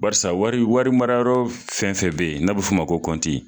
Barisa wari wari marayɔrɔ fɛn fɛn be yen n'a be f'o ma ko kɔnti